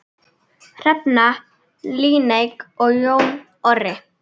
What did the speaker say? Hrefna Líneik og Jón Orri.